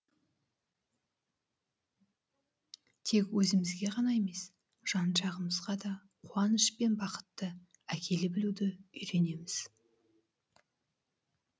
тек өзімізге ғана емес жан жағымызға да қуаныш пен бақытты әкеле білуді үйренеміз